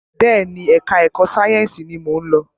Bẹẹni, ẹka ẹ̀kọ́ sáyẹnsì ní mọ ń lọ.